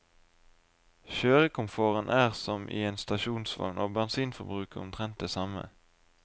Kjørekomforten er som i en stasjonsvogn, og bensinforbruket omtrent det samme.